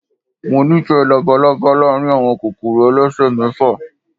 Mo nífẹ̀ẹ́ labalaba láàárín àwọn kòkòrò elesemefa.